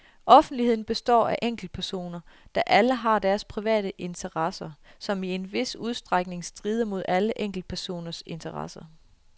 Offentligheden består af enkeltpersoner, der alle har deres private interesser, som i en vis udstrækning strider mod andre enkeltpersoners interesser.